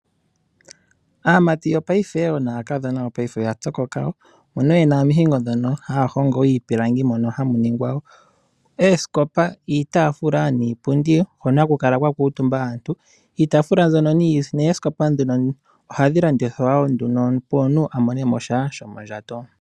Aamati naakadhona yopaife oya pyokoka, mbono ye na omihingo ndhono haya hongo iipilangi mono hamu ningwa oosikopa, iitaafula niipundi, hono ha ku kala kwa kuutumba aantu. Iitaafula mbino niipundi ohayi landithwa opo omuntu a monemo sha shomondjato.